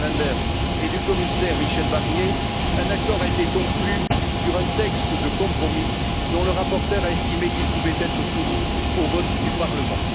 Didier Reynders et du commissaire Michel Barnier, un accord a été conclu sur un texte de compromis dont le rapporteur a estimé qu'il pouvait être soumis au vote du Parlement.